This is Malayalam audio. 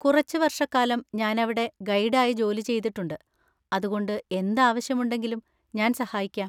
കുറച്ച് വർഷക്കാലം ഞാനവിടെ ഗൈഡ് ആയി ജോലി ചെയ്തിട്ടുണ്ട്, അതുകൊണ്ട് എന്ത് ആവശ്യം ഉണ്ടെങ്കിലും ഞാൻ സഹായിക്കാം.